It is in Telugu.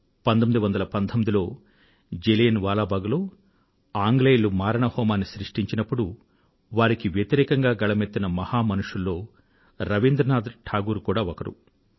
1919లో జలియన్ వాలా బాగ్ లో ఆంగ్లేయులు మారణహోమాన్ని సృష్టించినప్పుడు వారికి వ్యతిరేకంగా గళమెత్తిన మహామనుషులలో రబీంద్రనాథ్ టాగూర్ కూడా ఒకరు